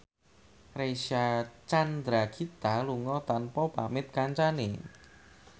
Reysa Chandragitta lunga tanpa pamit kancane